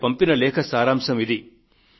ఆమె పంపిన లేఖ సారాంశం ఇది